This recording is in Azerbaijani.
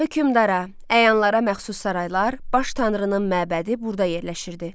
Hökmdara, əyanlara məxsus saraylar, baş tanrının məbədi burda yerləşirdi.